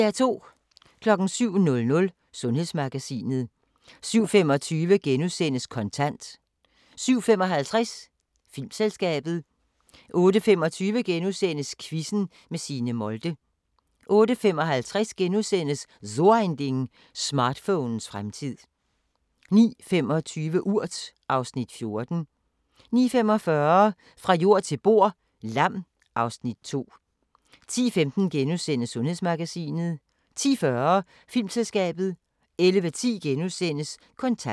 07:00: Sundhedsmagasinet 07:25: Kontant * 07:55: Filmselskabet 08:25: Quizzen med Signe Molde * 08:55: So Ein Ding: Smartphonens fremtid * 09:25: Urt (Afs. 14) 09:45: Fra jord til bord: Lam (Afs. 2) 10:15: Sundhedsmagasinet * 10:40: Filmselskabet 11:10: Kontant *